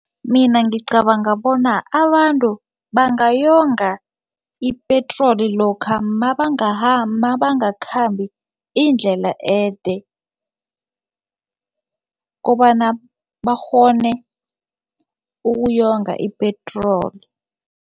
Mina ngicabanga bona abantu bangayonga ipetroli lokha mabangakhambi indlela ede kobana bakghone ukuyonga ipetroli.